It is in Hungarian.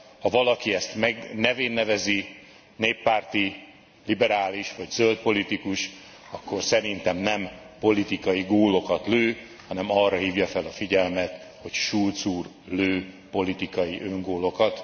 Ha valaki ezt nevén nevezi néppárti, liberális vagy zöld politikus akkor szerintem nem politikai gólokat lő, hanem arra hívja fel a figyelmet, hogy Schulz úr lő politikai öngólokat.